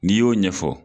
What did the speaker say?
N'i y'o ɲɛfɔ